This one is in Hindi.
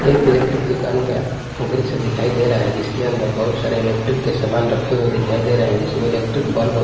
एक इलेक्ट्रिक दुकान का दृश्य दिखाई दे रहा है जिसके अंदर बहुत सारे इलेक्ट्रिक के सामान रखे हुए दिखाई दे रहे हैं जिसमें इलेक्ट्रिक बल्ब--